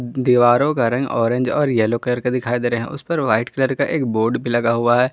दीवारों का रंग ऑरेंज येलो कलर का दिखाई दे रहा है उसपे वाइट कलर का एक बोर्ड भी लगा हुआ है।